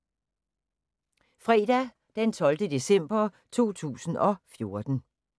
Fredag d. 12. december 2014